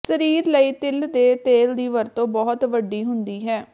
ਸਰੀਰ ਲਈ ਤਿਲ ਦੇ ਤੇਲ ਦੀ ਵਰਤੋਂ ਬਹੁਤ ਵੱਡੀ ਹੁੰਦੀ ਹੈ